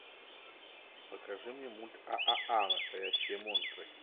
покажи мне мульт ааа настоящие монстры